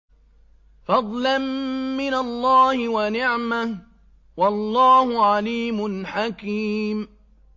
فَضْلًا مِّنَ اللَّهِ وَنِعْمَةً ۚ وَاللَّهُ عَلِيمٌ حَكِيمٌ